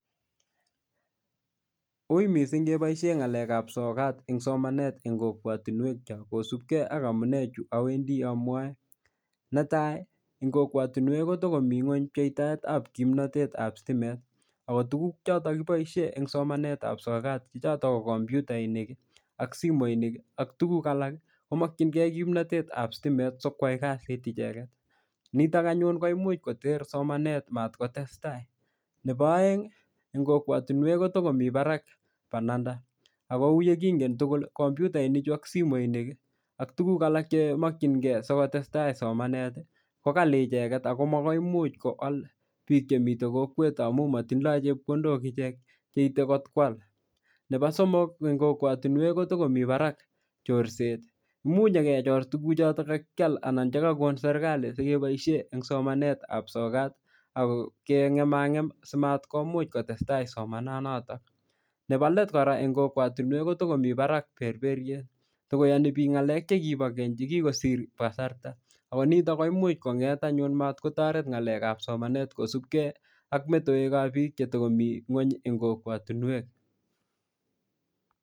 Ui mising' keboishe ng'alekab sokat eng' somanet eng' kokwotinwek cho kosupgei ak amune chu awendi amwoe netai eng' kokwotinwek kotikomi ng'weny pcheitaetab kimnatetab sitimet ako tukuk chotok kiboishe eng' somanetab sokat ko choto ko kompyutainik ak simoinik ak tukuk alak komokchingei kimnatetab sitimet sikwai kasit icheget nitok anyun ko imuch koter somanet matkotestai nebo oeng' eng' kokwotinwek ko tikomi barak bananda ako uu yekingen tugul komputaini chu ak simoinik ak tukuk alak che mokchingei siko testai somanet ko kali icheget ako makoi imuuch koal biik chemiten kokwet amu matindoi chepkondok ichek cheitei kot kwal nebo somok eng' kokwotinwek kotikomi barak chorset muuch nyikechor tukchoto kakial anan chikakon serikali sikeboishe eng' somanetab sokat akokeng'emang'em simatkomuch kotestai somananoto nebo let kora eng' kokwotinwek kotikomi barak berberyet tikoyani biik ng'alek chekibo keny chekikisir kasarta ako nito ko imuch anyun komatoret ng'alekab somanet kosupgei ak metewekab biik chetikomi ng'weny eng' kokwotinwek